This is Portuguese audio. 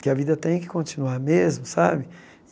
Que a vida tem que continuar mesmo, sabe?